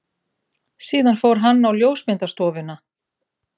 Síðan fór hann á ljósmyndastofuna.